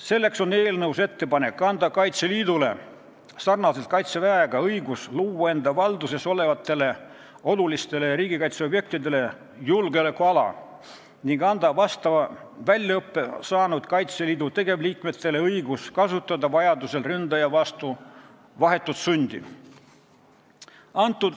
Seetõttu on eelnõus ettepanek anda Kaitseliidule sarnaselt Kaitseväega õigus luua enda valduses olevatele olulistele riigikaitseobjektidele julgeolekuala ning anda vastava väljaõppe saanud Kaitseliidu tegevliikmetele õigus kasutada vajaduse korral ründaja vastu vahetut sundi.